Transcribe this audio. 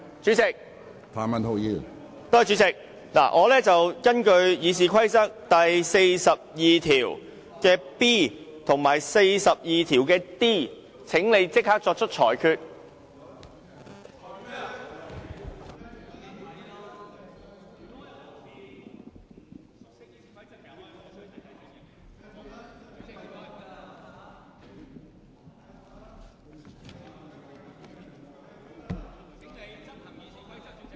主席，我請你立即根據《議事規則》第 42b 及 d 條作出裁決。